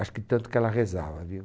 Acho que tanto que ela rezava, viu?